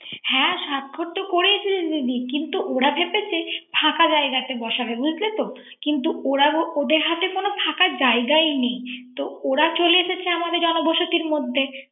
হ্যা স্বাক্ষরতো করে এসেছে দিদি। কিন্ত ওরা ভেবেছে ফাঁকা জায়গাতে বসাবে। কিন্ত ওদের হাতে কোন ফাঁকা জায়গায় নেই। তো ওরা চলে এসেছে আমাদের জন বসতির মধ্যে